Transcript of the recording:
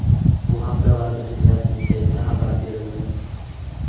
Bu haqda vazirlik rasmiy saytida xabar berildi .